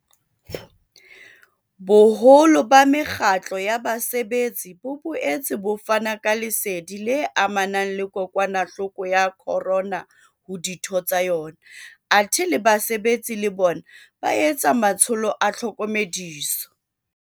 Boholo ba mekgatlo ya basebetsi bo boetse bo fana ka lesedi le amanang le kokwanahloko ya corona ho ditho tsa yona, athe le basebetsi le bona ba etsa matsholo a tlhokomediso.